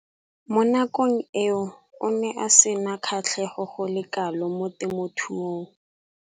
Mo nakong eo o ne a sena kgatlhego go le kalo mo temothuong.